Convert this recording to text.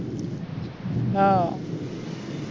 अच्छा अच्छा